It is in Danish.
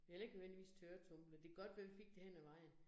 Vi havde heller ikke nødvendigvis tørretumbler, det godt være, vi fik det hen ad vejen